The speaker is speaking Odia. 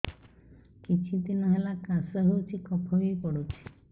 କିଛି ଦିନହେଲା କାଶ ହେଉଛି କଫ ବି ପଡୁଛି